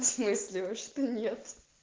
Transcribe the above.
всмысле а что нет